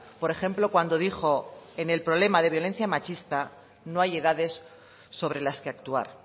por ejemplo cuando dijo en el problema de violencia machista no hay edades sobre las que actuar